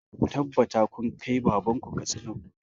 Ku tabbata kun kai baban ku Katsina gobe!